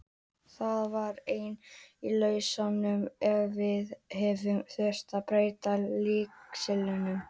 Það var ein af lausnunum ef við hefðum þurft að breyta leikstílnum.